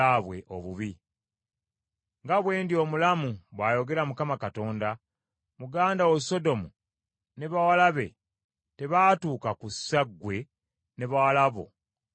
Nga bwe ndi omulamu, bw’ayogera Mukama Katonda, muganda wo Sodomu ne bawala be tebaatuuka ku ssa, ggwe ne bawala bo kwe mwatuuka.